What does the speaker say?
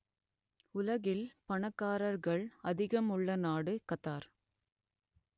உலகில் பணக்காரர்கள் அதிகம் உள்ள நாடு கத்தார்